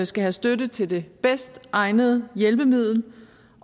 skal have støtte til det bedst egnede hjælpemiddel